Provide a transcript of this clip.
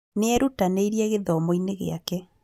Nĩerutanĩirie gĩthomo-inĩ gĩake